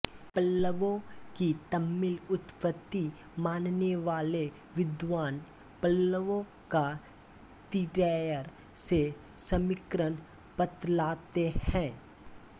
पल्लवों की तमिल उत्पत्ति माननेवाले विद्वान् पल्लवों का तिरैयर से समीकरण बतलाते हैं